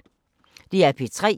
DR P3